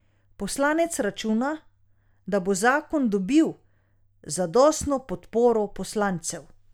Poslanec računa, da bo zakon dobil zadostno podporo poslancev.